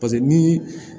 paseke ni